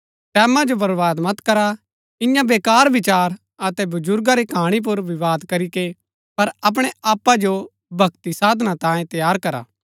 टैमां जो बर्वाद मत करा इन्या वेकार विचार अतै बर्जुगा री कहाणी पुर विवाद करीके पर अपणै आपा जो भक्ति साधना तांये तैयार करा